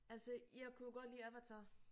Altså jeg kunne jo godt lide Avatar